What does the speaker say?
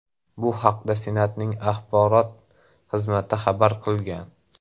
Bu haqda Senatning axborot xizmati xabar qilgan .